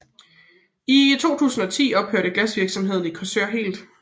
I 2010 ophørte glasvirksomheden i Korsør helt